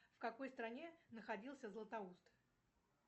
в какой стране находился златоуст